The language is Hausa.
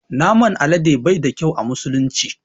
Naman alade bai da ƙyau a musulunci.